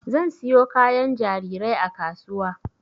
Zan siyo kayan jarirai a kasuwa